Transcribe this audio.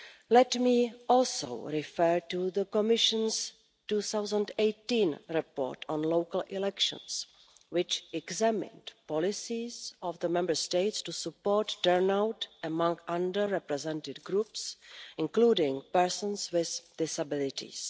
Let me also refer to the Commission's 2018 report on local elections, which examined the policies of the Member States to support turnout among under-represented groups, including persons with disabilities.